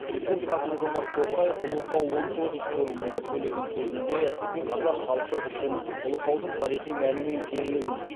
президент қасым жомарт тоқаев ұлытау он тоғыз форумында сөйлеген сөзінде қазақ халқы үшін ұлытаудың тарихи мәні мен киелілігін